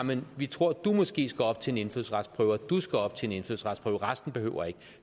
men vi tror at du måske skal op til en indfødsretsprøve og du skal op til en indfødsretsprøve og resten behøver ikke